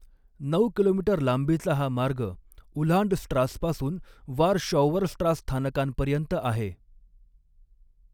नऊ किलोमीटर लांबीचा हा मार्ग उह्लांडस्ट्रास पासून वारशॉउअरस्ट्रास स्थानकांपर्यंत आहे.